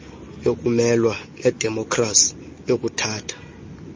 yokumelwa nedemokrasi yokuthatha